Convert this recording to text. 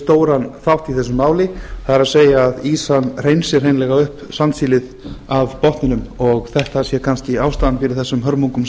stóran þátt í þessu máli það er að ýsan hreinsi hreinlega upp sandsílið af botninum og þetta sé kannski ástæðan fyrir þessum hörmungum